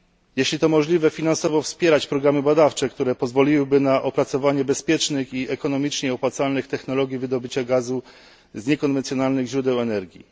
Jeśli to możliwe, powinna wspierać finansowo programy badawcze, które pozwoliłyby na opracowanie bezpiecznych i ekonomicznie opłacalnych technologii wydobycia gazu z niekonwencjonalnych źródeł energii.